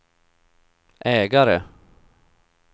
ägare